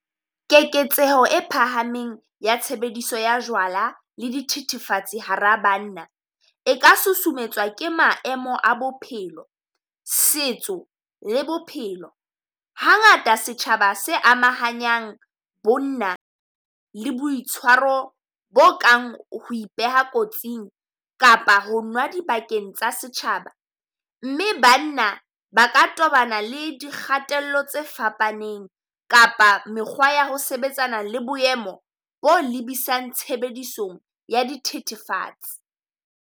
Keketseho e phahameng ya tshebediso ya jwala le di thithifatsi hara banna, e ka susumetswa ke maemo a bophelo, setso le bophelo. Hangata setjhaba se amahanyang bonna le boitshwaro bo kang ho ipeha kotsing kapa ho nwa dibakeng tsa setjhaba. Mme banna ba ka tobana le di kgatello tse fapaneng kapa mekgwa ya ho sebetsana le boemo bo lebisang tshebedisong ya dithethefatsi.